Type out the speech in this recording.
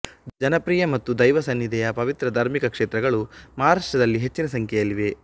ಜನಪ್ರಿಯ ಮತ್ತು ದೈವಸನ್ನಿಧಿಯ ಪವಿತ್ರ ಧಾರ್ಮಿಕ ಕ್ಷೇತ್ರಗಳು ಮಹಾರಾಷ್ಟ್ರದಲ್ಲಿ ಹೆಚ್ಚಿನ ಸಂಖ್ಯೆಯಲ್ಲಿವೆ